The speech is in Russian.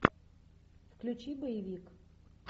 включи боевик